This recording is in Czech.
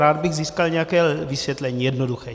Rád bych získal nějaké vysvětlení, jednoduché.